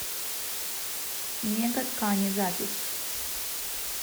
мега ткани запись